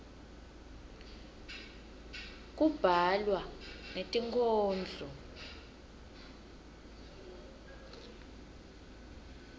kubhalwa netinkhondlo